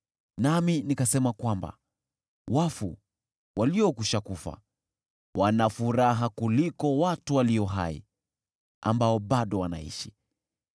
Nami nikasema kwamba wafu, waliokwisha kufa, wana furaha kuliko watu walio hai, ambao bado wanaishi.